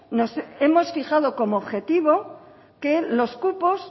nos hemos fijado como objetivo que los cupos